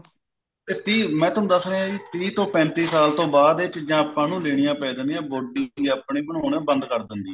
ਤੇ ਤੀਹ ਮੈਂ ਤੁਹਾਨੂੰ ਦਸ ਰਿਹਾ ਜੀ ਤੀਹ ਤੋਂ ਪੈਂਤੀ ਸਾਲ ਤੋਂ ਬਾਅਦ ਇਹ ਚੀਜਾਂ ਆਪਾਂ ਨੂੰ ਲੇਣਿਆ ਪੈ ਜਾਂਦਿਆ body ਆਪਣੇ ਬਣਾਉਣੇ ਬੰਦ ਕਰ ਦਿੰਦੀ ਐ